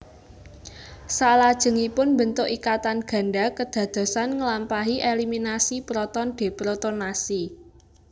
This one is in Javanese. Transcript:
Saklajengipun mbentuk ikatan ganda kedadosan ngelampahi eliminasi proton deprotonasi